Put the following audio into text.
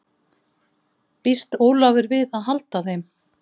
Býst Ólafur við að halda þeim?